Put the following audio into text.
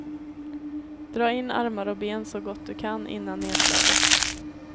Dra in armar och ben så gott du kan innan nerslaget.